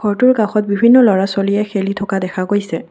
ঘৰটোৰ কাষত বিভিন্ন ল'ৰা-ছোৱালীয়ে খেলি থকা দেখা গৈছে।